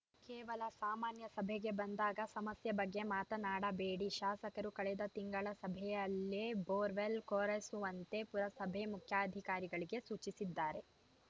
ಕೇವಲ ಸಾಮಾನ್ಯ ಸಭೆಗೆ ಬಂದಾಗ ಸಮಸ್ಯೆ ಬಗ್ಗೆ ಮಾತನಾಡಬೇಡಿ ಶಾಸಕರು ಕಳೆದ ತಿಂಗಳ ಸಭೆಯಲ್ಲೇ ಬೋರ್‌ವೆಲ್‌ ಕೊರೆಸುವಂತೆ ಪುರಸಭೆ ಮುಖ್ಯಾಧಿಕಾರಿಗೆ ಸೂಚಿಸಿದ್ದಾರೆ